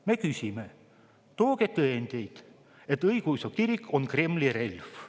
Me ütleme: tooge tõendeid, et õigeusu kirik on Kremli relv.